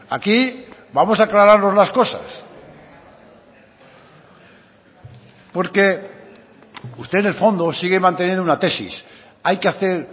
aquí vamos a aclararnos las cosas usted en el fondo sigue manteniendo una tesis que hay que hacer